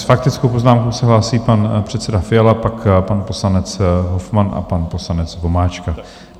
S faktickou poznámkou se hlásí pan předseda Fiala, pak pan poslanec Hofmann a pan poslanec Vomáčka.